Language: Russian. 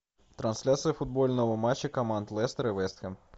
трансляция футбольного матча команд лестер и вест хэм